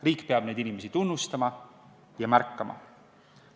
Riik peab neid inimesi tunnustama ja märkama.